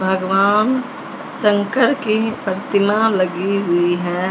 भगवान शंकर की प्रतिमा लगी हुई है।